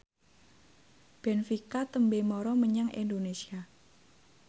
benfica tembe mara menyang Indonesia